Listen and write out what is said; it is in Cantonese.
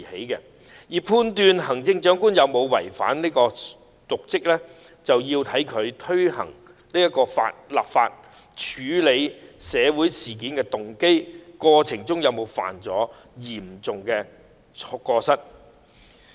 如要判斷行政長官有否違法瀆職，我們便要看看她在推動立法的動機及處理社會事件的過程中有否犯下嚴重過失。